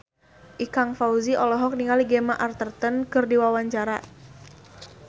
Ikang Fawzi olohok ningali Gemma Arterton keur diwawancara